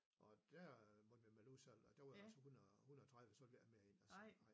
Og dér måtte vi have bleven udsolgt og der var så 100 130 så ville jeg ikke med ind og se